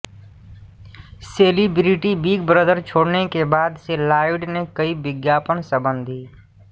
celebrity Big Brother छोड़ने के बाद से लॉयड ने कई विज्ञापनसंबंधी